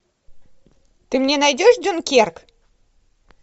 ты мне найдешь дюнкерк